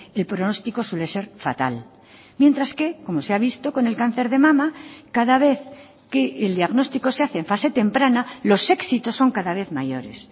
el pronóstico suele ser fatal mientras que como se ha visto con el cáncer de mama cada vez que el diagnóstico se hace en fase temprana los éxitos son cada vez mayores